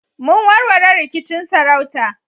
Mun warware rikicin sarauta